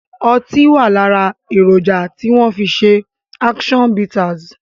Ọtí wá lára èròjà tí wọn fi ṣe action bitters